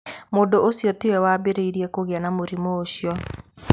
Mũndũ ũcio tiwe waambĩrĩirie kũgĩa na mũrimũ ũcio.